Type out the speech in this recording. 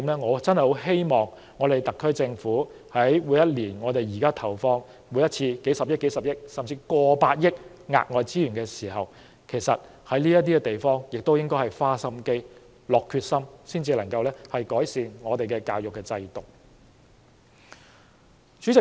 我真的希望特區政府以後除了每年投放數十億元，甚至超過100億元的額外資源在教育範疇，也應在這些方面花點心機、下定決心去改善我們的教育制度。